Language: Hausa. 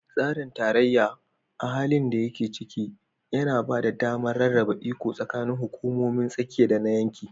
Tsarin tarayya, a halin da yake ciki, yana ba da damar rarraba iko tsakanin hukumomin tsakiya da na yanki